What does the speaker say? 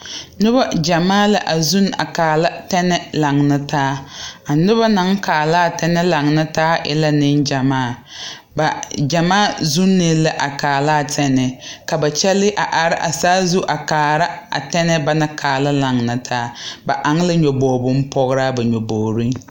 Nobɔ gyamaa la a zuun a kaala tɛnɛɛ laŋna taa a nobɔ naŋ kaalaa tɛnɛɛ laŋna taa e la neŋ gyamaa ba gyamaa zuunee la a kaalaa tɛnɛɛ ka ba kyɛle a are a saa zu a kaara a tɛnɛɛ ba naŋ kaala laŋna taa ba aŋ ka nyoboge bonpograa ba nyobogreŋ.